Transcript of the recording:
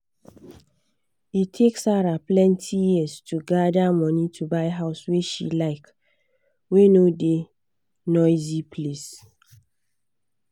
e take sarah plenty years to gather money to buy house wey she like wey no da noisy place